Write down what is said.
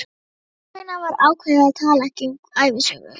Þess vegna var ákveðið að tala ekki um ævisögu